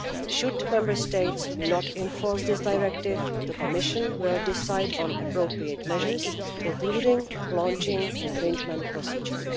Should Member States not enforce this directive, the Commission will decide on appropriate measures, including the launching of an infringement procedure.